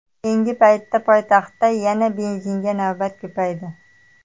Keyingi paytda poytaxtda yana benzinga navbat ko‘paydi.